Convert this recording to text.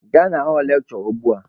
Gaa na họlụ lekshure ugbua!